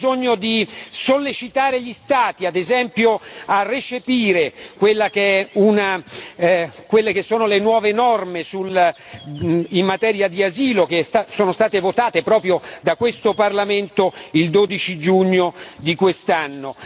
Abbiamo bisogno di sollecitare gli Stati ad esempio a recepire quelle che sono le nuove norme in materia di asilo che sono state votate proprio da questo Parlamento il 12 giugno di quest'anno.